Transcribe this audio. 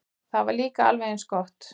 Það var líka alveg eins gott.